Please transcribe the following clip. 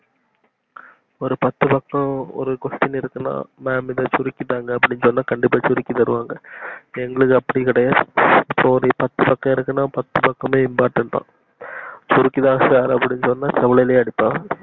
ஒரு பத்து பக்கம் ஒரு question இருக்குனா மாம் இத சுருக்கிதாங்கனா கண்டிப்பா சுருக்கி தருவாங்க எங்களுக்கு அப்படி கிடையாது ஒரு பத்துபக்கம்னா பத்துபக்கமே important தா சுருக்கி தாங்க சார்னா செவ்லயே அடிப்பாங்க